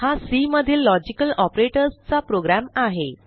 हा सी मधील लॉजिकल operatorsचा प्रोग्रॅम आहे